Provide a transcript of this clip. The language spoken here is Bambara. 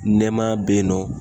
Nɛmaya be yen nɔ